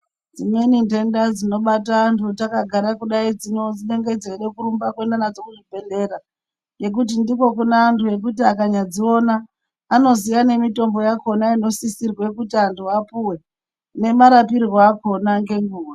Dzimweni ntenda dzinobata antu takagara kudai dzinenge dzeide kurumba kuenda nadzo kuzvibhedhleya nekuti ndiko kune amtu ekuti akanyadziona anoziya nemitombo yakona inosisirwe kuti antu apuwe nemarapwire akona ngenguwa.